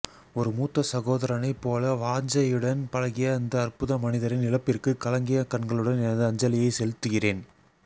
ஒரு மூத்தசகோதரனைப் போல வாஞசையுடன் பழகிய அந்த அற்புத மனிதரின் இழப்பிற்கு கலங்கிய கண்களுடன் எனது அஞ்சலியை செலுத்துகிறேன்